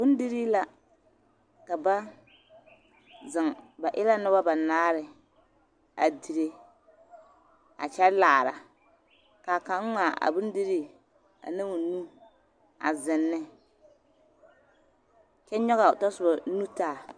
Bondirii la ka ba zeŋ ba e la nimbanaare a dire a kyɛ laara ka kaŋ ŋmaa a bondirii ane o nu a zeŋ ne kyɛ nyɔɡe a o tasoba nu taa.